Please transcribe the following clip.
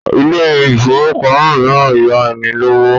Ilé ifówópamọ́ míràn ń yá ènìyàn lówó